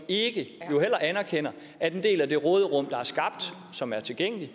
ikke anerkender at en del af det råderum der er skabt og som er tilgængeligt